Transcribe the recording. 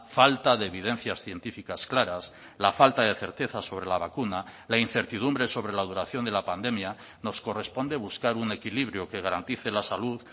falta de evidencias científicas claras la falta de certeza sobre la vacuna la incertidumbre sobre la duración de la pandemia nos corresponde buscar un equilibrio que garantice la salud